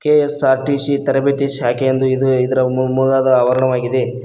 KSRTC ತರಬೇತಿ ಶಾಖೆ ಎಂದು ಇದು ಇದರ ಮುಂಗದ ಆವರಣವಾಗಿದೆ.